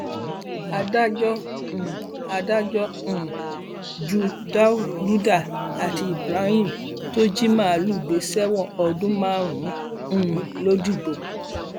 adájọ um adájọ um ju dáúdà àti ibrahim tó jí màálùú gbè sẹwọn ọdún márùn um lodigbo